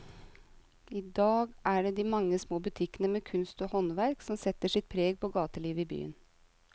I dag er det de mange små butikkene med kunst og håndverk som setter sitt preg på gatelivet i byen.